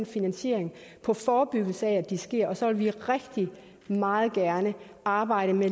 finansieringen på forebyggelse af at det sker og så vil vi meget gerne arbejde med